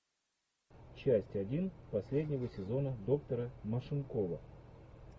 часть один последнего сезона доктора машинкова